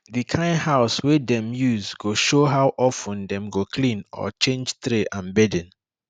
di kind house wey dem use go show how of ten dem go clean or change tray and bedding